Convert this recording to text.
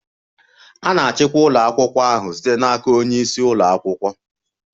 A na-achịkwa ụlọ akwụkwọ ahụ site n'aka onye isi ụlọ akwụkwọ.